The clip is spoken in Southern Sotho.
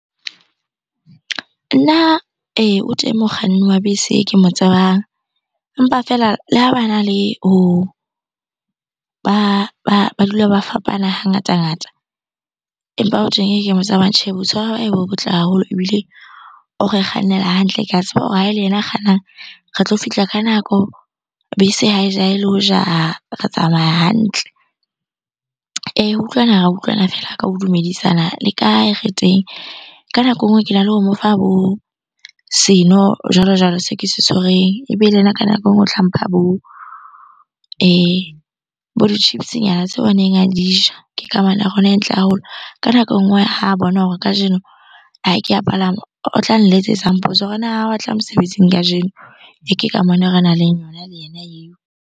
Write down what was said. Nna o teng mokganni wa bese e ke mo tsebang empa fela le ha bana le ho, ba dula ba fapana ha ngata-ngata. Empa tsamayang tjhe, boitshwaro ba hae bo botle haholo ebile o re kgannela hantle. Ke hore ha ele yena a kgannang re tlo fihla ka nako, bese ha e jahe le ho jaha, re tsamaya hantle. Ho utlwana ra utlwana feela ka ho dumedisana le kae? Re teng. Ka nako e nngwe kena le ho mo fa bo seno jwalo-jwalo seo ke se tshwereng ebe le yena ka nako e nngwe o tla mpha bo bo di-chips nyana tseo a neng a di ja. Ke kamano ya rona e ntle haholo. Ka nako e nngwe ha bona hore kajeno ha ke a palama, o tla nletsetsa mpotsa hore na ha wa tla mosebetsing kajeno? Ke kamano e renang le yona le yena eo.